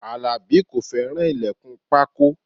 Alabi kò fẹ́ràn ilẹkun pákó